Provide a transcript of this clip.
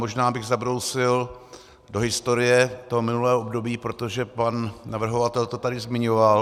Možná bych zabrousil do historie toho minulého období, protože pan navrhovatel to tady zmiňoval.